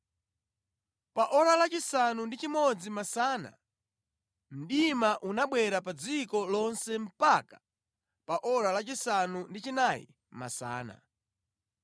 Pa ora lachisanu ndi chimodzi masana mdima unabwera pa dziko lonse mpaka pa ora lachisanu ndi chinayi masana.